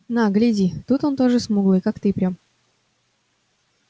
на гляди тут он тоже смуглый как ты прям